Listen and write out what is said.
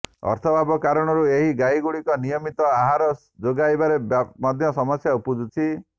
ଅର୍ଥାଭାବ କାରଣରୁ ଏହି ଗାଈଗୁଡିକୁ ନିୟମିତ ଆହାର ଯୋଗାଇବାରେ ମଧ୍ୟ ସମସ୍ୟା ଉପୁଜିଛି